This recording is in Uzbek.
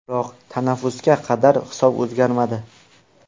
Biroq tanaffusga qadar hisob o‘zgarmadi.